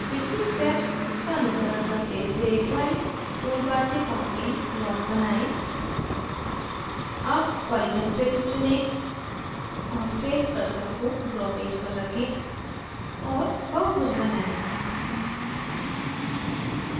पिछली steps का अनुसरण करते हुए drawing toolbar से parking lot बनाएं अब polygon filled चुनें और फिर cursor को draw पेज पर रखें और बहुभुज बनाएं